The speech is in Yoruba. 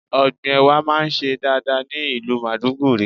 Ọ̀gbìn Ẹ̀wà máa ń ṣe dáadáa ní ìlú Maiduguri.